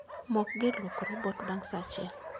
Mok gir luoko robot bang' sa achiel